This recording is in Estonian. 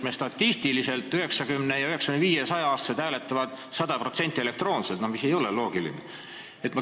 Meil statistiliselt 90-, 95- ja 100-aastased hääletavad 100% elektroonselt, mis ei ole loogiline.